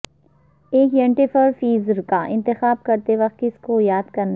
ایک ینٹیفرفیزر کا انتخاب کرتے وقت کس کو یاد کرنے